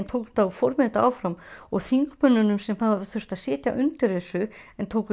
tók þetta og fór með þetta áfram og þingmönnunum sem þurftu að sitja undir þessu en tóku